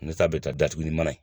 bɛ taa datugu ni mana ye